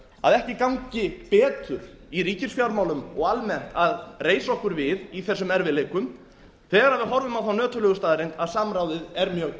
að ekki gangi betur í ríkisfjármálum og almennt að reisa okkur við í þessum erfiðleikum þegar við horfum á þá nöturlegu staðreynd að samráðið er mjög